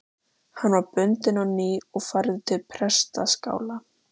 Hann var bundinn á ný og færður til prestaskála.